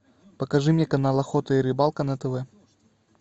покажи мне канал охота и рыбалка на тв